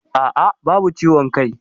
Aa, babu ciwon kai